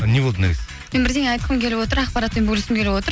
не болады наргиз мен бірдеңе айтқым келіп отыр ақпаратпен бөліскім келіп отыр